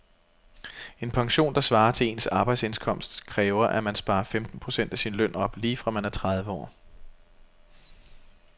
En pension, der svarer til ens arbejdsindkomst, kræver at man sparer femten procent af sin løn op lige fra man er tredive år.